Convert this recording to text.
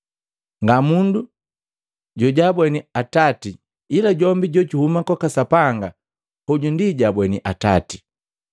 Nga mundu jojabweni Atati, ila jombi jojuhuma kwaka Sapanga hoju ndi jojabweni Atati.